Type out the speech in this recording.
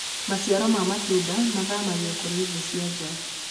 maciaro ma matunda mathamagio kuri thii cia njaa